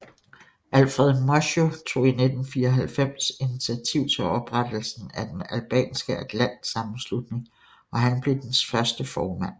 Alfred Moisiu tog i 1994 initiativ til oprettelsen af den Albanske Atlantsammenslutning og han blev dens første formand